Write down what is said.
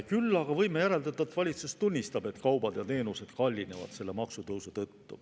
Küll aga võime järeldada, et valitsus tunnistab, et kaubad ja teenused kallinevad selle maksutõusu tõttu.